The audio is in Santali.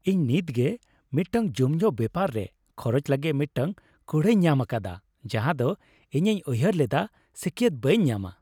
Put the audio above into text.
ᱤᱧ ᱱᱤᱛᱜᱮ ᱢᱤᱫᱴᱟᱝ ᱧᱩᱢᱡᱚᱝ ᱵᱮᱯᱟᱨᱟ ᱨᱮ ᱠᱷᱚᱨᱚᱪ ᱞᱟᱹᱜᱤᱫ ᱢᱤᱫᱴᱟᱝ ᱠᱩᱲᱟᱹᱭᱤᱧ ᱧᱟᱢ ᱟᱠᱟᱫᱟ ᱡᱟᱦᱟ ᱫᱚ ᱤᱧᱤᱧ ᱩᱭᱦᱟᱹᱨ ᱞᱮᱫᱟ ᱥᱟᱹᱠᱭᱟᱹᱛ ᱵᱟᱹᱧ ᱧᱟᱢᱟ ᱾